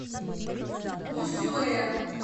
усюэ